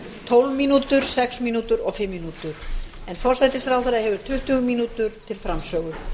tólf mínútur sex mínútur og fimm mínútur en forsætisráðherra hefur tuttugu mínútur til framsögu